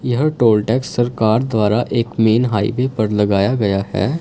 यह toll tax सरकार द्वारा एक मेन हाईवे पर लगाया गया है।